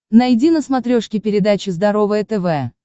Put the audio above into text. найди на смотрешке передачу здоровое тв